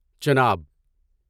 Chenab